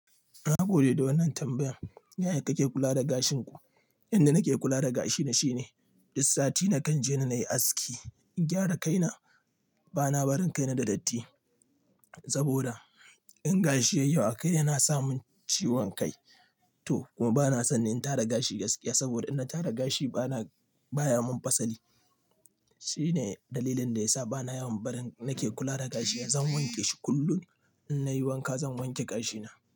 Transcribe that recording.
Na gode da wannan tambayan. Yaya kake kula da gashin ku? Yanda nake kula da gashina shine duk sati nakan je na yi aski in gyara kaina. Bana barin kaina da datti saboda in gashi yayi yawa akai yana samun ciwon kai to kuma bana son yin tara gashi gaskiya saboda in na tara gashi bana baya mun pasali. Shine dalilin da yasa bana yawan barin nake kula da gashina. Zan wanke shi kullum in nayi wanka zan wanke gashina.